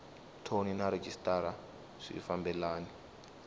thoni na rhejisitara swi fambelani